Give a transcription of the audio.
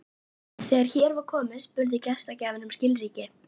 Þegar hér var komið spurði gestgjafinn um skilríki.